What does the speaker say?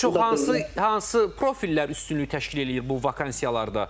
Ən çox hansı hansı profillər üstünlük təşkil eləyir bu vakansiyalarda?